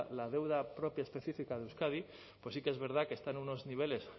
la deuda propia específica de euskadi pues sí que es verdad que está en unos niveles